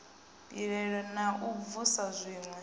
pilela na u vhusa zwiwe